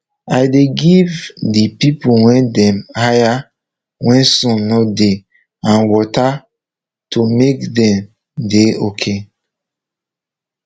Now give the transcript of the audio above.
i dey give de pipo wey dem hire where sun nor dey and water to make dem dey ok